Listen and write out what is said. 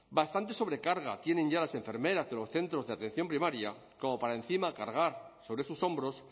bastante sobrecarga tienen ya las enfermeras de los centros de atención primaria como para encima cargar sobre sus hombros